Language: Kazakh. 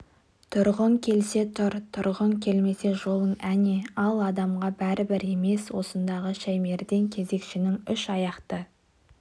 тұрғың келсе тұр тұрғың келмесе жолың әне ал адамға бәрібір емес осындағы шаймерден кезекшінің үш аяқты